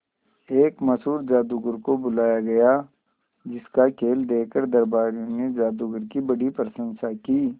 एक मशहूर जादूगर को बुलाया गया जिस का खेल देखकर दरबारियों ने जादूगर की बड़ी प्रशंसा की